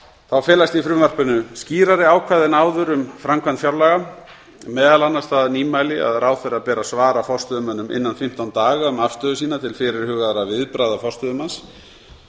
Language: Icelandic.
þá felast í frumvarpinu skýrari ákvæði en áður um framkvæmd fjárlaga meðal annars það nýmæli að ráðherra ber að svara forstöðumönnum innan fimmtán daga um afstöðu sína til fyrirhugaðra viðbragða forstöðumanns